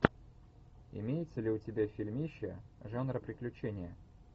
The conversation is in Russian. имеется ли у тебя фильмище жанр приключения